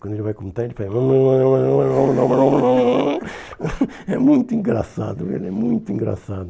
Quando ele vai cantar, ele faz... É muito engraçado, ele é muito engraçado.